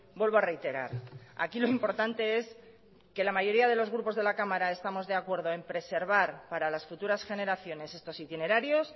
vuelvo a reiterar aquí lo importante es que la mayoría de los grupos de la cámara estamos de acuerdo en preservar para las futuras generaciones estos itinerarios